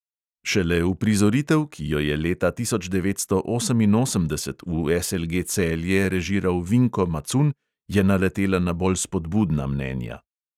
Šele uprizoritev, ki jo je leta tisoč devetsto oseminosemdeset v SLG celje režiral vinko macun, je naletela na bolj spodbudna mnenja.